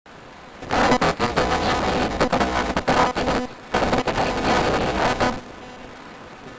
காலப்போக்கில் ஜெர்மானிய மொழியிலிருந்து கடன் வாங்கப்பட்ட வார்த்தைகள் கலந்து விட்டன இதுவே அறிவொளியின் ஆரம்பம்